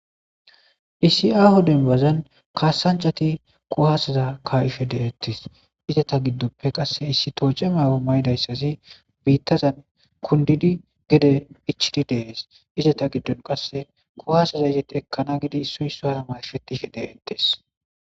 issi aaho denbazan kaasancati quhaseza ka7ife deettes izeta giddoppe qasse issi tooce maawo maydayssasi biittazan kundidi gede ichidi deees izeta giddon qasse kuhaseza izetti ekkana gidi su yso hara mayfetife deettes